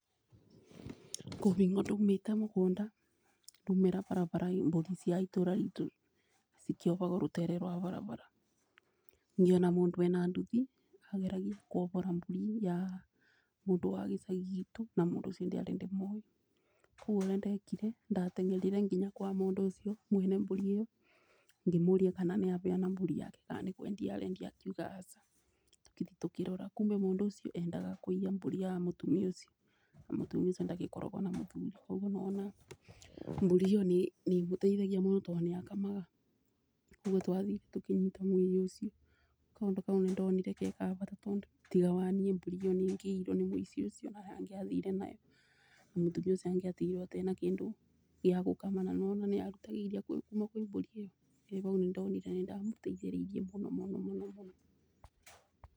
Kwĩbingo ndaumĩte mũgũnda ndaumĩra barabara mbũri cia itũra ritũ cikĩobagwo rũtere rwa barabara. Ngiona mũndũ ena nduthi ageragia kuobora mbũri ya mũndũ wa gĩcagi gitũ na mũndũ ũcio ndiarĩ ndĩmũĩ. Ũguo ũrĩa ndekire ndateng'erire nginya kwa mũndũ ũcio mwene mbũri ĩyo, ngĩmũria kana nĩ abeana mbũri yake kana nĩ kwendia arendia akiuga aca. Tukĩthiĩ tũkĩrora kumbe mũndũ ũcio endaga kũiya mbũri ya mũtumia ũcio na mũtumia ũcio ndagĩkoragwo na mũthuri. Nĩ wona ona mbũri ĩyo nĩ ĩmũteithagia mũno tondũ nĩ akamaga ũguo twathiuĩ tũkĩnyita mũiyi ũcio. Kaũndũ kau nĩ ndonire ge kabata tondũ tiga wa niĩ mbũri ĩyo nĩ ĩngiaiyirwo nĩ mũici ũcio na angĩathire nayo. Na mũtumia ũcio angĩatigirwo atarĩ na kĩndũ gĩa gũkama na nĩ wona nĩ arutaga iria kwĩ mbũri ĩyo, ũguo bau nĩ ndonire nĩ ndamũteithia mũno mũno mũno.